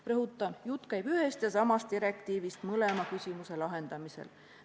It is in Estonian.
Rõhutan, et jutt käib ühest ja samast direktiivist mõlema küsimuse lahendamisel.